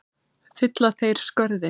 Fylla þeir skörðin?